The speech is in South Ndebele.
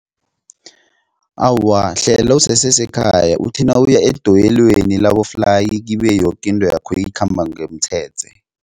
Awa, hlela usesesekhaya uthi nawuya edoyelweni labo-fly kibe yoke into yakho ikhamba ngomtshetshe.